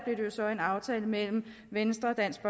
jo så en aftale mellem venstre dansk